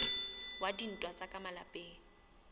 wa dintwa tsa ka malapeng